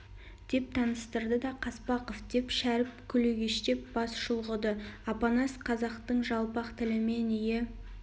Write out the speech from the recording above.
деп таныстырды да қаспақов деп шәріп күлегештеп бас шұлғыды апанас қазақтың жалпақ тілімен ие